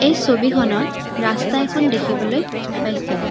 এই ছবিখনত ৰাস্তা এখন দেখিবলৈ পাইছোঁ।